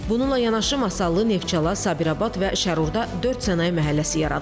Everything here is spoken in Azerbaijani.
Bununla yanaşı, Masallı, Neftçala, Sabirabad və Şərurda dörd sənaye məhəlləsi yaradılıb.